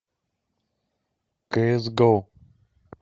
кс го